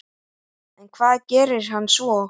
En hvað gerir hann svo?